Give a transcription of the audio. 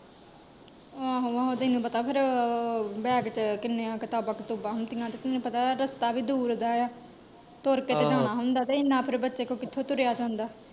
ਆਹੋ ਆਹੋ ਤੈਨੂੰ ਪਤਾ ਫੇਰ, ਬੈਗ ਚ ਕਿੰਨੀਆਂ ਕਿਤਾਬਾਂ ਕਤੁਬਾ ਹੁੰਦੀਆਂ ਤੇ ਤੈਨੂੰ ਪਤਾ ਏ ਰਸਤਾ ਵੀ ਦੂਰ ਦਾ ਆ, ਤੁਰ ਕ ਤੇ ਜਾਣਾ ਹੁੰਦਾ ਤੇ ਇਹਨਾਂ ਫੇਰ ਬੱਚੇ ਕੋਲੋਂ ਕਿੱਥੋਂ ਤੁਰਿਆ ਜਾਂਦਾ।